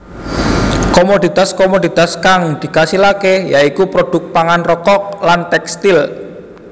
Komoditas komoditas kang dikasilaké ya iku produk pangan rokok lan tèkstil